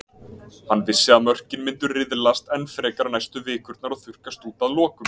Hann vissi að mörkin myndu riðlast enn frekar næstu vikurnar og þurrkast út að lokum.